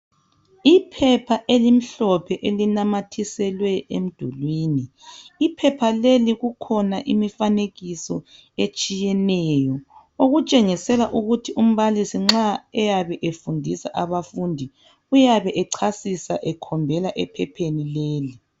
Iphepha elimhlophe elinamathiselwe emdulwini iphepha leli kukhona imifanekiso etshiyeneyo okutshengisela ukuthi umbalisi nxa eyabe efundisa abafundi uyabe echasisa ekhombela ephepheni leli